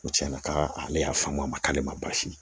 Ko tiɲɛna ka ale y'a faamu a ma k'ale ma baasi ye